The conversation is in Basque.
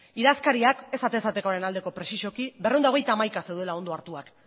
idazkariak ez atez atekoaren aldekoa prezisoki berrehun eta hogeita hamaika zeudela ondo hartuak